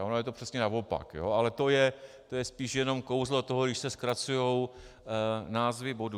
A ono je to přesně naopak, ale to je spíše jenom kouzlo toho, když se zkracují názvy bodů.